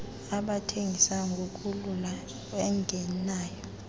abathengis ngokulala ungenayo